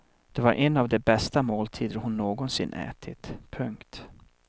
Det var en av de bästa måltider hon någonsin ätit. punkt